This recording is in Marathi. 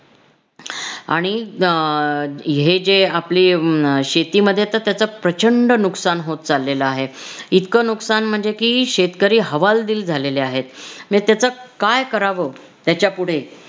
आणि आह हे जे आपली अं शेतीमध्ये तर त्याच प्रचंड नुकसान होत चालेल आहे इतकं नुकसान म्हणजे कि शेतकरी हवालदिल झालेले आहेत अन त्याच काय करावं त्याच्यापुढे